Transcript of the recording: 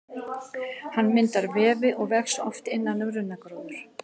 Hann myndar vefi og vex oft innan um runnagróður.